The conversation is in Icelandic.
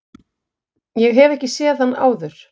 Ég hef ekki séð hann áður.